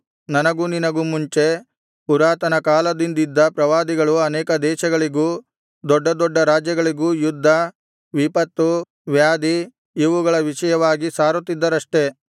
ನನಗೂ ನಿನಗೂ ಮುಂಚೆ ಪುರಾತನ ಕಾಲದಿಂದಿದ್ದ ಪ್ರವಾದಿಗಳು ಅನೇಕ ದೇಶಗಳಿಗೂ ದೊಡ್ಡ ದೊಡ್ಡ ರಾಜ್ಯಗಳಿಗೂ ಯುದ್ಧ ವಿಪತ್ತು ವ್ಯಾಧಿ ಇವುಗಳ ವಿಷಯವಾಗಿ ಸಾರುತ್ತಿದ್ದರಷ್ಟೆ